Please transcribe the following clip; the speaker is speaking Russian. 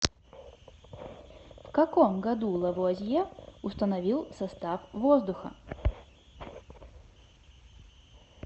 в каком году лавуазье установил состав воздуха